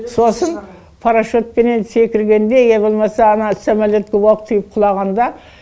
сосын парашютпенен секіргенде я болмаса ана самолетке оқ тиіп құлағанда